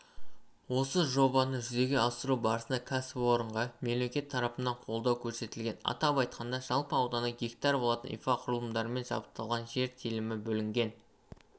осы жобаны жүзеге асыру барысында кәсіпорынға мемлекет тарапынан қолдау көрсетілген атап айтқанда жалпы ауданы гектар болатын инфрақұрылымдармен жабдықталған жер телімі бөлінген